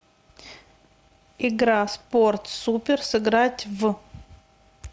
игра спорт супер сыграть в